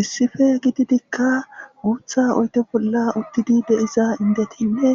Issipe gididikka guutha oyte bolla uttidi deiza indetinne